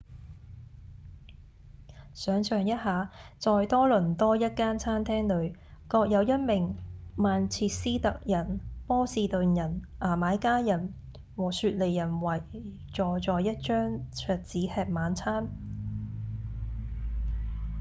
想像一下在多倫多一間餐廳裡各有一名曼徹斯特人、波士頓人、牙買加人和雪梨人圍坐在一張桌子吃晚餐